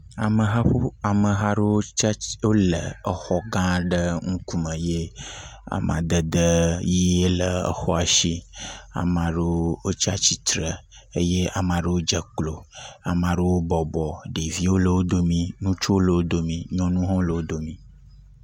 Ameha aɖewo le exɔ gã aɖe ƒe ŋkume eye amadede ʋe le exɔ si ye ame aɖewo tsatsitre, eye ame aɖewo dze klo, ame ɖewo bɔbɔ, ɖeviwo le wo domee, ŋutsuwo le dome, nyɔnuwo hã le wo dome.